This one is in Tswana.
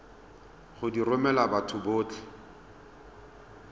go di romela batho botlhe